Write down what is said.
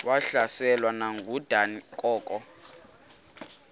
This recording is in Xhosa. wahlaselwa nanguadam kok